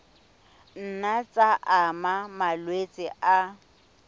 nna tsa ama malwetse a